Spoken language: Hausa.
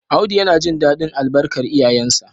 Audu yana jin dadin albarkar iyayensa